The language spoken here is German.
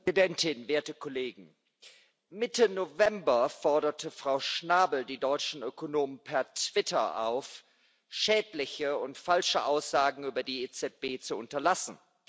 Frau Präsidentin, werte Kollegen! Mitte November forderte Frau Schnabel die deutschen Ökonomen per Twitter auf, schädliche und falsche Aussagen über die EZB zu unterlassen.